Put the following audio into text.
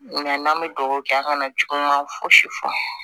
Nka n'an bɛ dugawu kɛ an kana juguman fosi fɔ